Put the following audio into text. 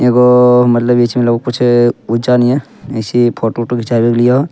एगो मतलब बीच में लोग कुछ ऊचा नियन ऐसे ही फोटो उटो घीचा रह लियो।